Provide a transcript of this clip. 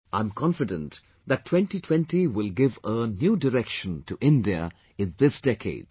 I am confident that 2020 will give a new direction to India in this decade